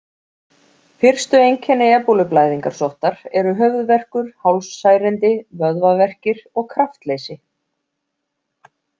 Fyrstu einkenni ebólublæðingarsóttar eru höfuðverkur, hálssærindi, vöðvaverkir og kraftleysi.